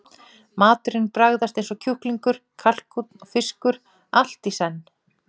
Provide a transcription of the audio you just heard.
Maturinn bragðast eins og kjúklingur, kalkúnn og fiskur allt í senn.